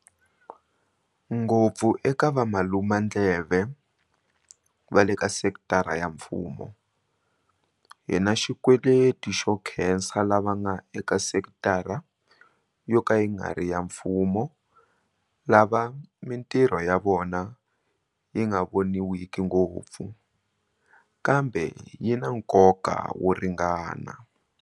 Ngopfu eka valumandleve va leka sekitara ya mfumo, hi na xikweleti xo nkhesa lava nga eka sekitara yo ka yi nga ri ya mfumo lava mitirho ya vona yi nga voniwiki ngopfu, kambe yi na nkoka wo ringana.